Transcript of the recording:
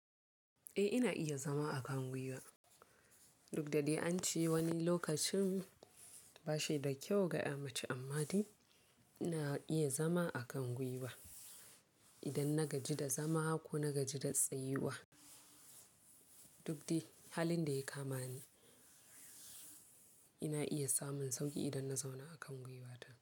Eh ina iya zama a kan gwiwa. Duk da dai ance wani lokacin ba shi da kyau ga ƴa mace amma dai ina iya zama a kan gwiwa idan na gaji da zama ko na gaji da tsayuwa. Duk dai halin da ya kamani ina iya samun sauƙi idan na zauna a kan gwiwata.